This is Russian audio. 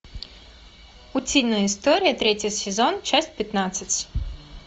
утиные истории третий сезон часть пятнадцать